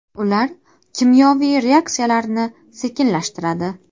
Ular kimyoviy reaksiyalarni sekinlashtiradi.